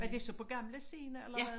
Var det så på gamle scene eller hvad